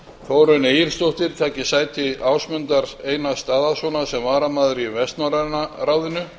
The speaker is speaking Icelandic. þórunn egilsdóttir taki sæti ásmundar einars daðasonar sem varamaður í vestnorræna ráðinu